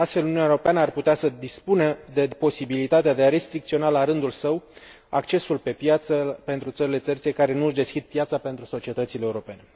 Astfel, Uniunea Europeană ar putea să dispună de posibilitatea de a restricționa, la rândul său, accesul pe piață pentru țările terțe care nu își deschid piața pentru societățile europene.